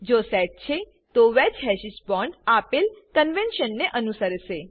જો સેટ છે તો વેજ્ડ હેશીસ બોન્ડ આપેલ કન્વેન્શન ને અનુસરસે